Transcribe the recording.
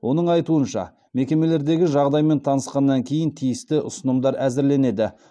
оның айтуынша мекемелердегі жағдаймен танысқаннан кейін тиісті ұсынымдар әзірленеді